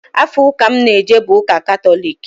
Afa ụka m n-eje bụ Ụka Katọlik.